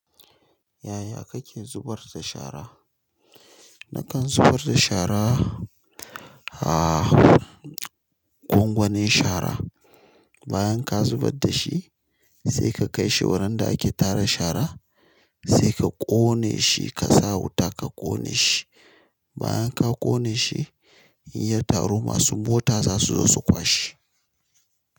Yaya kake zubar da shara? Nakan zubar da shara, a gwangwanin shara. Bayan ka zubar da shi sai ka kai shi wurin da ake tara shara, sai ka ƙone shi ka sa wuta ka ƙone shi. Bayan ka ƙone shi, in ya taru masu mota zasu zo su kwashe.